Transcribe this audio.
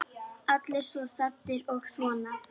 Allir svo saddir og svona.